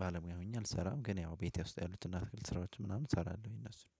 ባለሙያ ሆኜ አልሰራም። ግን ያው ቤቴ ውስጥ ያሉትና አትክልት ስራዎች ምናምን እሰራለሁኝ እነሱን።